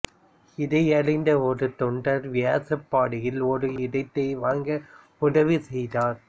இதையறிந்த ஒரு தொண்டா் வியாசர்பாடியில் ஒரு இடத்தை வாங்க உதவி செய்தார்